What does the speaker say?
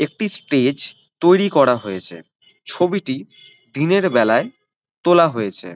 একটি স্টেজ তৈরী করা হয়েছে ছবিটি দিনের বেলায় তোলা হয়েছে।